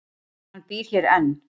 Hann býr hér enn.